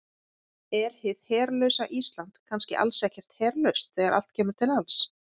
Er hið herlausa Ísland kannski alls ekkert herlaust þegar allt kemur til alls?